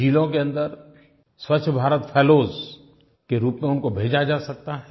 ज़िलों के अन्दर स्वच्छ भारत फेलोज के रूप में उनको भेजा जा सकता है